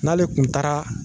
n'ale tun taara